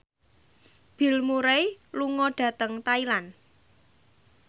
Bill Murray lunga dhateng Thailand